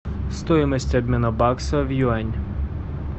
стоимость обмена бакса в юань